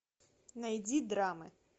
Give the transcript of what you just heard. найди драмы